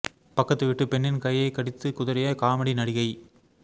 பக்கத்து வீட்டு பெண்ணின் கையை கடித்துக் குதறிய காமெடி நடிகை